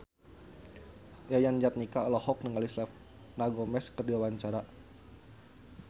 Yayan Jatnika olohok ningali Selena Gomez keur diwawancara